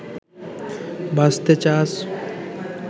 বাঁচতে চাস